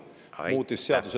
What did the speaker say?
Aitäh!